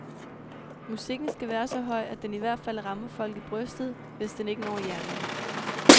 Mmusikken skal være så høj, at den i hvert fald rammer folk i brystet, hvis den ikke når hjernen.